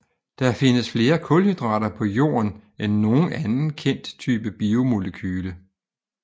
Der findes flere kulhydrater på jorden end nogen anden kendt type biomolekyle